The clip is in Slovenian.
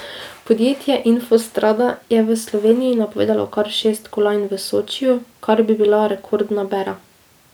Podjetje Infostrada je Sloveniji napovedalo kar šest kolajn v Sočiju, kar bi bila rekordna bera.